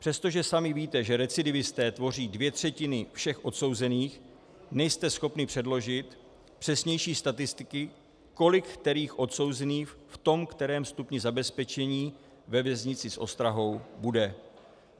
Přestože sami víte, že recidivisté tvoří dvě třetiny všech odsouzených, nejste schopni předložit přesnější statistiky, kolik kterých odsouzených v tom kterém stupni zabezpečení ve věznici s ostrahou bude.